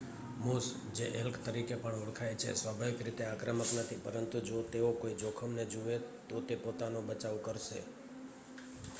moose જે elk તરીકે પણ ઓળખાય છે સ્વાભાવિક રીતે આક્રમક નથી પરંતુ જો તેઓ કોઈ જોખમને જુએ તો તે પોતાનો બચાવ કરશે